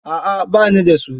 A'a ba ni da su.